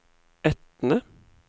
Etne